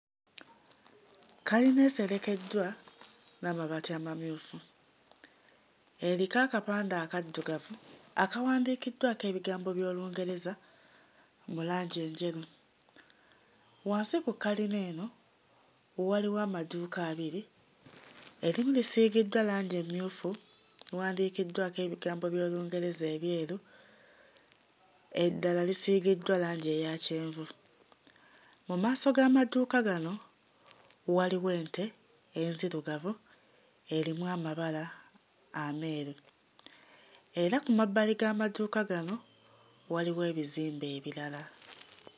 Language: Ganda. Kkalina eserekeddwa n'amabaati amanyufu eriko akapande akaddugavu akawandiikiddwako ebigambo by'Olungereza mu langi enjeru. Wansi ku kkalina eno waliwo amaduuka abiri, erimu lisiigiddwa langi emmyufu wandiikiddwako ebigambo by'Olungereza ebyeru eddala lisiigiddwa langi eya kyenvu. Mu maaso g'amaduuka gano waliwo ente enzirugavu erimu amabala ameeru era ku mabbali g'amaduuka gano waliwo ebizimbe ebirala.